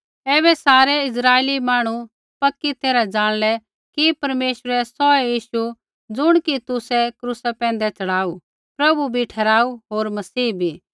ऐबै सारै इस्राइली मांहणु पक्की तैरहा ज़ाणलै कि परमेश्वरै सौहै यीशु ज़ुण कि तुसै क्रूसा पैंधै च़ढ़ाऊ प्रभु बी ठहराऊ होर मसीह बी